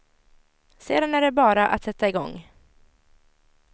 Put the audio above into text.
Sedan är det bara att sätta igång.